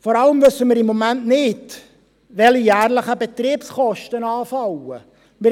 Vor allem wissen wir im Moment nicht, welche jährlichen Betriebskosten anfallen werden.